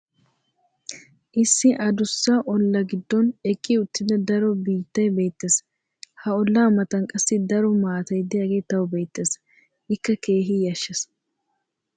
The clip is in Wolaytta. issi addussa olaa giddon eqqi uttida daro biittay beetees. ha ola matan qassi daro maatay diyaagee tawu beetees. ikka keehi yashees.